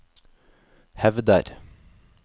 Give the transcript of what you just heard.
hevder